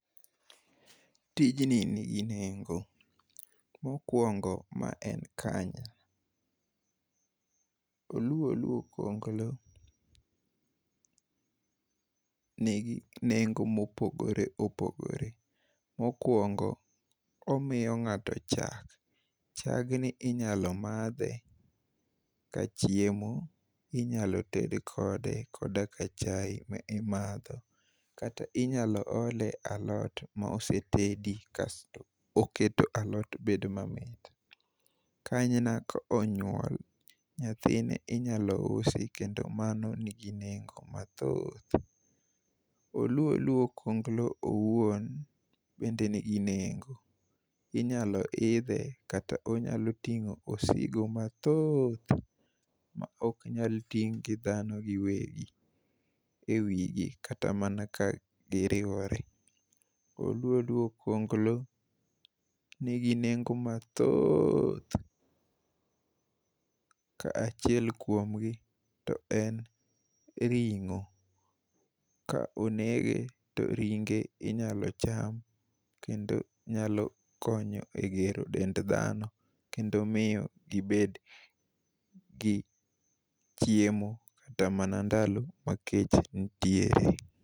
Tijni nigi nengo, mokwongo ma en kanyna. Oluo oluo kuonglo nigi nengo mopogore opogore. Mokwongo, omiyo ng'ato chak, Chagni inyalo madhe kachiemo inyalo nted kode koda ka chai mimadho kata inyalo ole e alot mosetedi kasto oketo alot bedo mamit. Kanyna ko onyuol, nyathine inyalo usi kendo mano nigi nengo mathoth. Oluo oluo okuonglo owuon bende nigi nengo inyalo idhe kata onyalo tingo osigo mathoth ma ok nuyal ting' gi dhano giwegi e wigi, kata mana ka giriworore. Oluo oluo okuonglo nigi nengo mathoth , kaachiel kuom gi to en ring'o. Ka onege to ringe inyalo cham kendo nyalo konyo e gero dend dhano kendo miyo gibed gi chiemo kata mana ndalo ma kech ntiere.